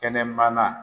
Kɛnɛmana